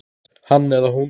Hann eða hún